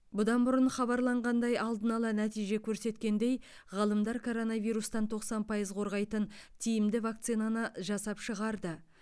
бұдан бұрын хабарланғандай алдын ала нәтиже көрсеткендей ғалымдар коронавирустан тоқсан пайыз қорғайтын тиімді вакцинаны жасап шығарды